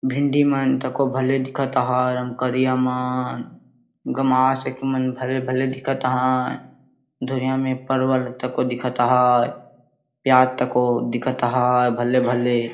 भिंडिमन तकों भले दिखत हय एककरियाँ मन गमासएकमन भले -भले दिखत हय धुरियाँ में परवल तकों दिखत हय प्याज तकों दिखत हय भले -भले --